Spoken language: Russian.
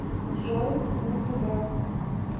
джой на тебя